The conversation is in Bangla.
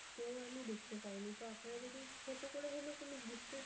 store আমি দেখতে পাইনি. তো আপনারা যদি ছোট করে হলেও কোন gift এর